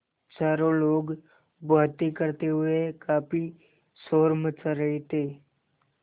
चारों लोग बातें करते हुए काफ़ी शोर मचा रहे थे